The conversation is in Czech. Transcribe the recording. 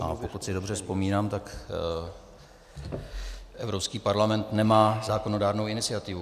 A pokud si dobře vzpomínám, tak Evropský parlament nemá zákonodárnou iniciativu.